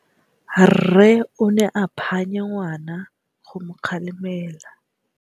Rre o ne a phanya ngwana go mo galemela.